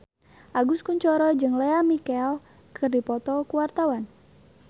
Agus Kuncoro jeung Lea Michele keur dipoto ku wartawan